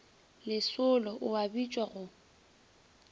lesolo o a bitša go